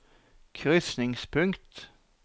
krysningspunkt